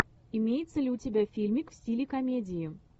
имеется ли у тебя фильмик в стиле комедии